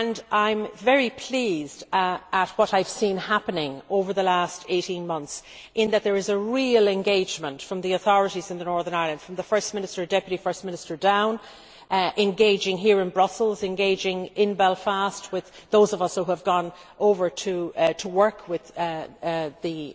I am very pleased at what I have seen happening over the last 18 months, in that there is a real engagement from the authorities in Northern Ireland, from the First Minister and Deputy First Minister down engaging here in Brussels, engaging in Belfast with those of us who have gone over to work with the